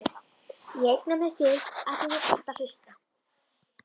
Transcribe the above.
Ég eigna mér þig afþvíað þú kannt að hlusta.